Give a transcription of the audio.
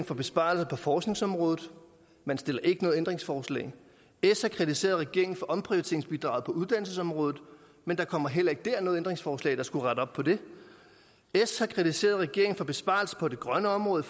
for besparelser på forskningsområdet men stiller ikke noget ændringsforslag s har kritiseret regeringen for omprioriteringsbidraget på uddannelsesområdet men der kommer heller ikke der noget ændringsforslag der skulle rette op på det s har kritiseret regeringen for besparelser på det grønne område